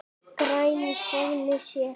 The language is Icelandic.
græn í faðmi sér.